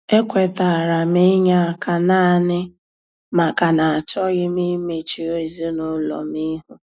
E kwetara m inye aka naanị maka na achọghị m imechu ezinụlọ m ihu.